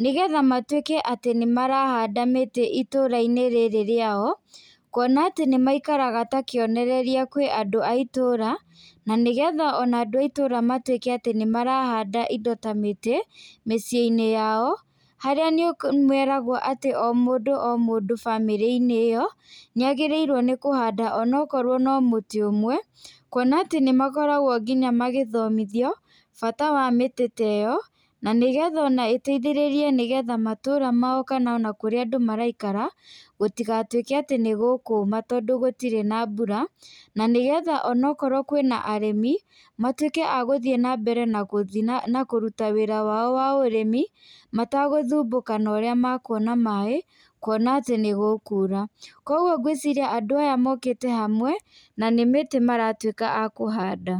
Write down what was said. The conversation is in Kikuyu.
nĩgetha matwĩke atĩ nĩmarahanda mĩtĩ itũra-inĩ rĩrĩ rĩao kuona atĩ nĩmaikaraga ta kĩonereria kũrĩ andũ a itũra, na nĩgetha andũ a itũra matuĩke atĩ nĩmarahanda indo ta mĩtĩ miciĩ-inĩ yao harĩa meragwo atĩ o mũndũ o mũndũ bamĩrĩ-inĩ ĩyo nĩ agĩrĩirwo nĩkũhanda onakorwo no mũtĩ ũmwe kuona atĩ nĩmakoragwo nginya magĩthomithio bata wa mĩtĩ ta ĩo na nĩgetha ona ĩteithĩrĩrie matũra mao ona kana kũrĩa andũ maraikara gũtigatuĩke atĩ nĩgũkũma tondũ gũitirĩ na mbura, na nĩgetha ona akorwo kwĩna arĩmi matuĩke a gũthiĩ na mbere na kũruta wĩra wao wa ũrĩmi mategũthumbũka na ũrĩa mekuona maĩ kuona atĩ nĩ gũkura. Kũoguo ngwĩciria andũ aya mokĩte hamwe na nĩ mĩtĩ maratwĩka a kũhanda.